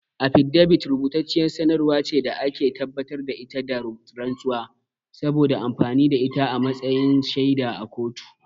Afidabit rubutacciyar sanarwar ce da ake tabbatar da ita da rantsuwa, saboda amfani da ita a matsayin shaida a kotu.